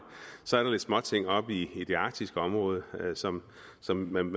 så er der lidt småting oppe i det arktiske område som som man